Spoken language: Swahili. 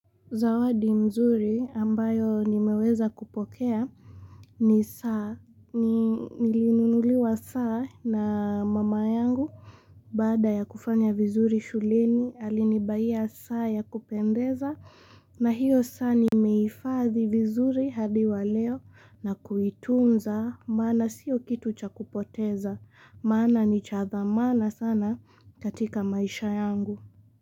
Zawadi mzuri ambayo nimeweza kupokea ni saa nilinunuliwa saa na mama yangu Bada ya kufanya vizuri shuleni alinibayia saa ya kupendeza na hiyo saa nimeifathi vizuri hadi wa leo na kuitunza mana siyo kitu cha kupoteza mana ni chadhamana sana katika maisha yangu.